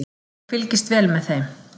Ég fylgist vel með þeim.